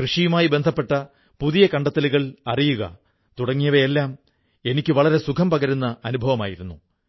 കൃഷിയുമായി ബന്ധപ്പെട്ട പുതിയ കണ്ടെത്തലുകൾ അറിയുക തുടങ്ങിയവയെല്ലാം എനിക്ക് വളരെ സുഖം പകരുന്ന അനുഭവമായിരുന്നു